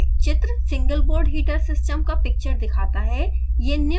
चित्र single board heater system का picture दिखाता है